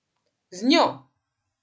Z Njo!